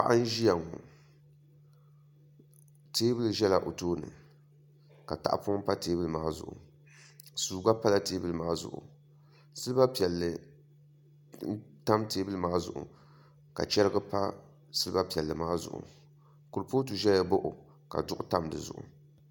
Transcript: Paɣa n ʒiya ŋo teebuli ʒɛla o tooni ka tahapoŋ pa teebuli maa zuɣu suu gba pala teebuli maa zuɣu silba piɛlli n tam teebuli maa zuɣu ka chɛrigi pa silba piɛlli maa zuɣu kurifooti ʒɛya baɣa o ka duɣu bili tam dizuɣu